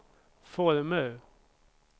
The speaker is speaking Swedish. former